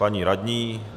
Paní radní?